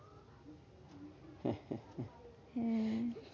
হ্যাঁ